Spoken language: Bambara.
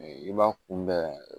I b'a kunbɛn